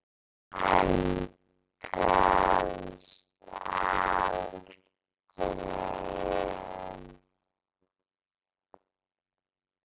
Hann gafst aldrei upp.